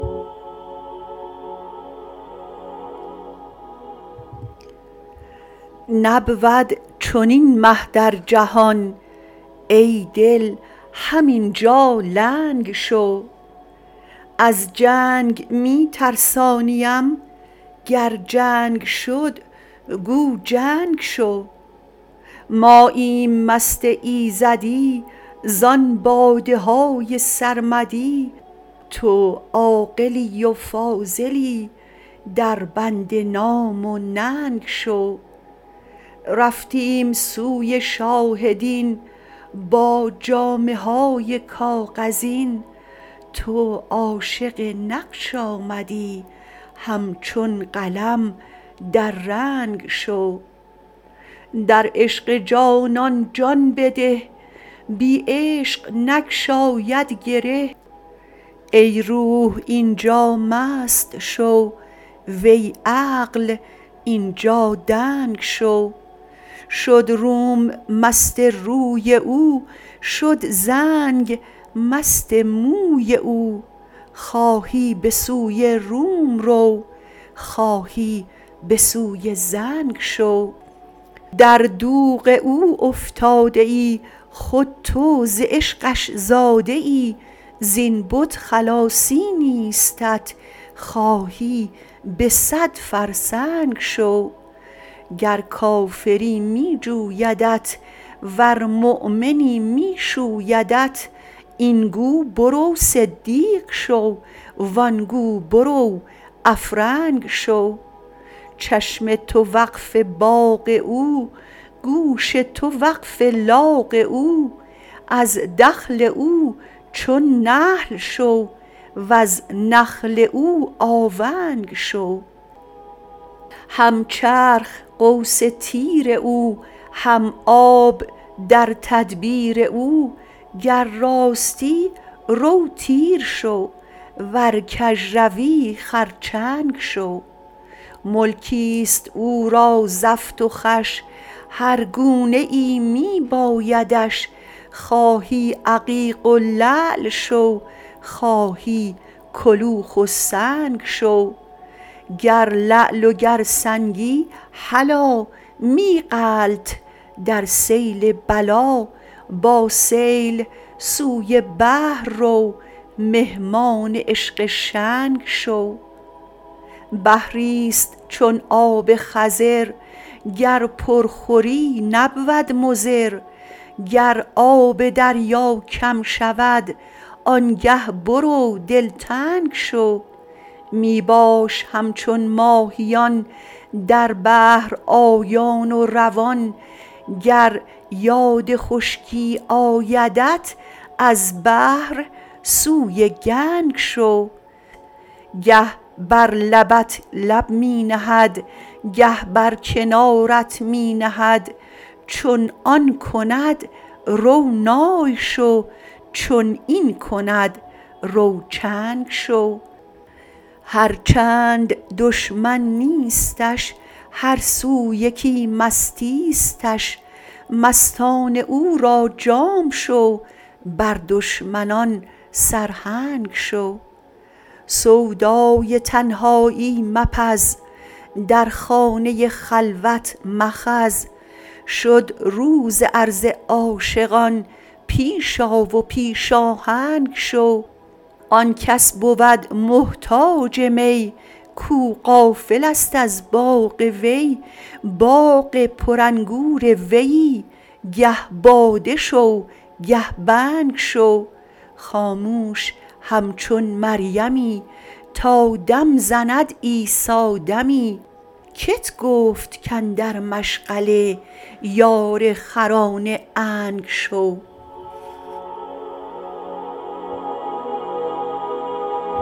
نبود چنین مه در جهان ای دل همین جا لنگ شو از جنگ می ترسانیم گر جنگ شد گو جنگ شو ماییم مست ایزدی زان باده های سرمدی تو عاقلی و فاضلی دربند نام و ننگ شو رفتیم سوی شاه دین با جامه های کاغذین تو عاشق نقش آمدی همچون قلم در رنگ شو در عشق جانان جان بده بی عشق نگشاید گره ای روح این جا مست شو وی عقل این جا دنگ شو شد روم مست روی او شد زنگ مست موی او خواهی به سوی روم رو خواهی به سوی زنگ شو در دوغ او افتاده ای خود تو ز عشقش زاده ای زین بت خلاصی نیستت خواهی به صد فرسنگ شو گر کافری می جویدت ورمؤمنی می شویدت این گو برو صدیق شو و آن گو برو افرنگ شو چشم تو وقف باغ او گوش تو وقف لاغ او از دخل او چون نخل شو وز نخل او آونگ شو هم چرخ قوس تیر او هم آب در تدبیر او گر راستی رو تیر شو ور کژروی خرچنگ شو ملکی است او را زفت و خوش هر گونه ای می بایدش خواهی عقیق و لعل شو خواهی کلوخ و سنگ شو گر لعل و گر سنگی هلا می غلت در سیل بلا با سیل سوی بحر رو مهمان عشق شنگ شو بحری است چون آب خضر گر پر خوری نبود مضر گر آب دریا کم شود آنگه برو دلتنگ شو می باش همچون ماهیان در بحر آیان و روان گر یاد خشکی آیدت از بحر سوی گنگ شو گه بر لبت لب می نهد گه بر کنارت می نهد چون آن کند رو نای شو چون این کند رو چنگ شو هر چند دشمن نیستش هر سو یکی مستیستش مستان او را جام شو بر دشمنان سرهنگ شو سودای تنهایی مپز در خانه خلوت مخز شد روز عرض عاشقان پیش آ و پیش آهنگ شو آن کس بود محتاج می کو غافل است از باغ وی باغ پرانگور ویی گه باده شو گه بنگ شو خاموش همچون مریمی تا دم زند عیسی دمی کت گفت کاندر مشغله یار خران عنگ شو